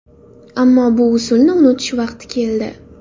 Ammo bu uslubni unutish vaqti keldi.